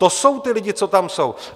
To jsou ti lidé, co tam jsou.